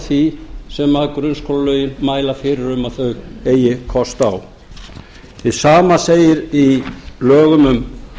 því sem grunnskólalögin mæla fyrir um að þau eigi kost á hið sama segir í lögum um